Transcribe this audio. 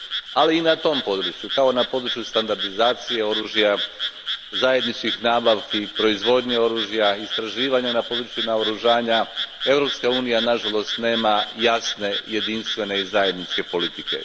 Ali i na tom području, kao na području standardizacije oružja, zajedničkih nabavki i proizvodnje oružja i istraživanja na području naoružanja Europska unija nažalost nema jasne jedinstvene i zajedničke politike.